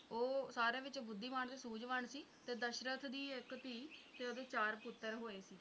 ਉਹ ਸਾਰਿਆਂ ਵਿੱਚ ਬੁੱਧੀਮਾਨ ਤੇ ਸੂਝਵਾਨ ਸੀ ਤੇ ਦਸ਼ਰਥ ਦੀ ਇੱਕ ਧੀ ਤੇ ਓਹਦੇ ਚਾਰ ਪੁੱਤਰ ਹੋਏ ਸੀ